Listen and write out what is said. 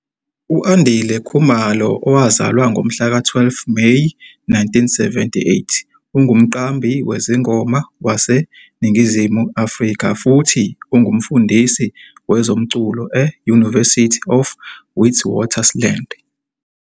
U-Andile Khumalo, owazalwa ngomhlaka 12 Meyi 1978, ungumqambi wezingoma waseNingizimu Afrika futhi ungumfundisi wezomculo e-University of Witwatersrand.